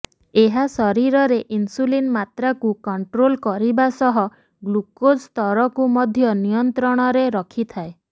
ଏହା ଶରୀରରେ ଇନ୍ସୁଲିନ ମାତ୍ରାକୁ କଂଟ୍ରୋଲ କରିବା ସହ ଗ୍ଲୁକୋଜ ସ୍ତରକୁ ମଧ୍ୟ ନିୟନ୍ତ୍ରଣରେ ରଖିଥାଏ